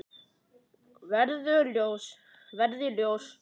Verði ljós.